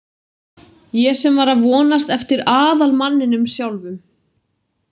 Ég sem var að vonast eftir aðalmanninum sjálfum.